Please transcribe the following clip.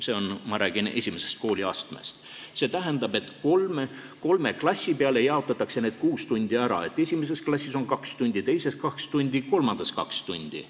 See tähendab, et need kuus tundi jaotatakse kolme klassi peale ära: esimeses klassis on kaks tundi, teises kaks tundi ja kolmandas kaks tundi.